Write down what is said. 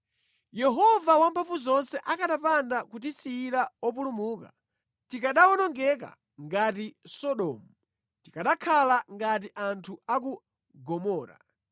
Yehova Wamphamvuzonse akanapanda kutisiyira opulumuka, tikanawonongeka ngati Sodomu, tikanakhala ngati anthu a ku Gomora.